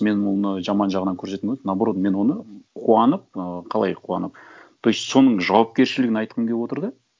мен оны жаман жағынан көрсеткім келмейді наоборот мен оны қуанып ы қалай қуанып то есть соның жауапкершілігін айтқым келіп отыр да